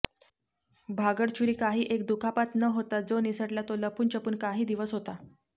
भागडचुरी कांहीं एक दुखापत न होतां जो निसटला तो लपूनछपून कांहीं दिवस होता